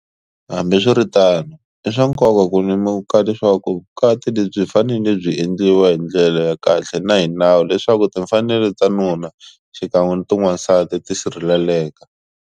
Hambiswiritano, i swa nko ka ku lemuka leswaku vukati lebyi byi fanele byi endliwa hi ndlela ya kahle na hi nawu leswaku timfanelo ta nuna xikan'we na ta n'wansati ti sirheleleka.